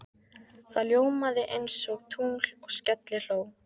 Það ljómaði einsog tungl og skellihló.